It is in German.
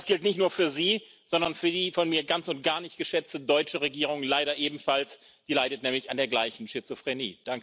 Und das gilt nicht nur für Sie, sondern für die von mir ganz und gar nicht geschätzte deutsche Regierung leider ebenfalls, die leidet nämlich an der gleichen Schizophrenie.